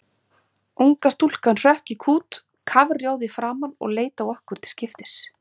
Unga stúlkan hrökk í kút kafrjóð í framan og leit á okkur til skiptis.